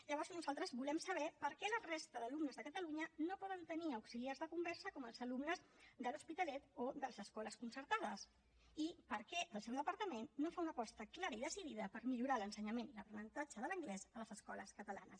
llavors nosaltres volem saber per què la resta d’alumnes de catalunya no poden tenir auxiliars de conversa com els alumnes de l’hospitalet o de les escoles concertades i per què el seu departament no fa una aposta clara i decidida per millorar l’ensenyament i l’aprenentatge de l’anglès a les escoles catalanes